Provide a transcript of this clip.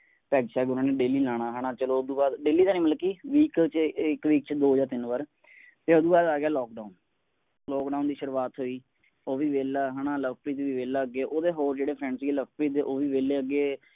ਉਨ੍ਹਾਂ ਨੇ ਰੋਜ਼ਾਨਾਲਾਉਣਾ ਹੈ ਨਾ ਚਲੋ ਉਸ ਤੋਂ ਬਾਅਦ ਰੋਜ਼ਾਨਾਤਾਂ ਨਹੀਂ ਮਤਲਬ ਕਿ ਹਫ਼ਤਾ ਚ ਇੱਕਹਫ਼ਤਾ ਚ ਦੋ ਜਾਂ ਤਿੰਨ ਬਾਰ ਤੇ ਉਸਤੋਂ ਬਾਅਦ ਆ ਗਿਆ ਤਾਲਾਬੰਦੀਦੀ ਸ਼ੁਰੂਆਤ ਹੋਈ ਉਹ ਵੀ ਵਿਹਲਾ ਹੈ ਨਾ ਲਵਪ੍ਰੀਤ ਵੀ ਵਹਿਲਾ ਅੱਗੇ ਓਹਦੇ ਹੋਰ ਜਿਹੜੇ ਸੀਗੇ ਲਵਪ੍ਰੀਤ ਦੇ ਉਹ ਵੀ ਵਿਹਲਾ ਅੱਗੇ